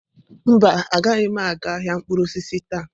Mba, agaghị m aga ahịa mkpụrụ osisi taa.